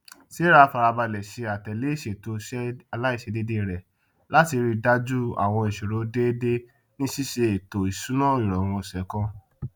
sarah farabalẹ ṣe àtẹlé ìṣètò iṣẹ aláìṣèdeédé rẹ láti ríi dájú àwọn iṣirò déédé ní ṣíṣe étò iṣùnáirọrun ọsẹ kan